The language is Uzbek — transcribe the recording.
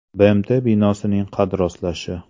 BMT binosining qad rostlashi.